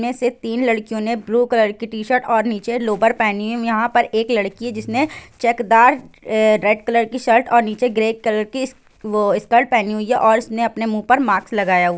में से तीन लड़कियों ने ब्लू कलर की शर्ट और नीचे लोअर पहनी हुई यहां पर एक लड़की जिसने चेकदार रेड कलर नीचे ग्रे कलर की वो स्कर्ट पहनी हुई हैऔर इसने अपने मुंह पर मास्क लगाया हुआ है।